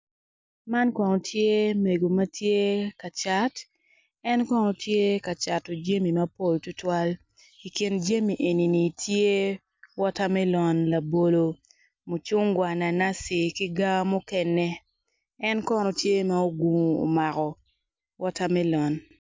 Man kono tye mego matye kacat en kono tye kacato jami mapol tutuwal i kin jami enini tye watermelon labolo mucungwa nanasi ki gar mukene enkono tye ma ogungo omako water melon.